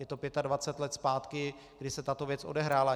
Je to 25 let zpátky, kdy se tato věc odehrála.